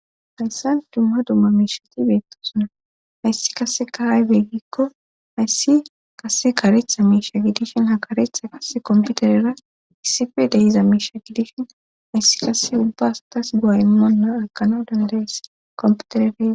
hayssan dumma dumma miishati beettosuna hayssi kase kahay beggikko hayssi kase karetha miisha gidishin ha karetha kase komputerera issife dehiza miisha gidishin hayssi kase ubba astas gu7a immonna akano dandayes komputerede